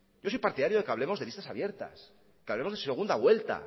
yo soy partidario de que hablemos de listas abiertas que hablemos de segunda vuelta